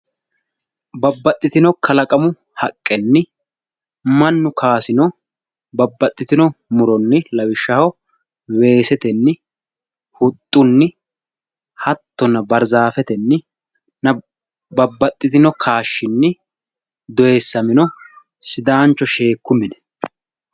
Babbaxitino kalaqamu haqenni Manu kaasino babbaxitino muronni lawishaho weesetenni huxunni hattonna baarzaafetenninna babbaxitino kaashinni doyissamino sidaancho sheeku mine.